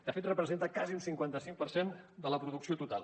de fet representa quasi un cinquanta cinc per cent de la producció total